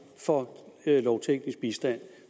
for lovteknisk bistand